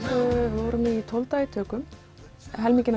við vorum tólf daga í tökum helminginn á